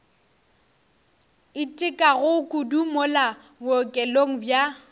itekago kudu mola bookelong bja